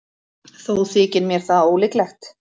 Þó þykir mér það ólíklegt.